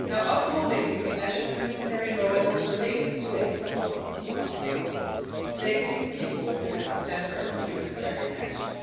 Upholding international humanitarian law is also linked to a central theme of the summit placing people at the centre of humanitarian action.